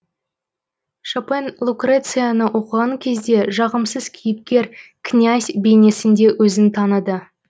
шопен лукрецияны оқыған кезде жағымсыз кейіпкер князь бейнесінде өзін таныды